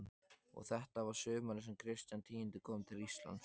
Og þetta var sumarið sem Kristján tíundi kom til Íslands.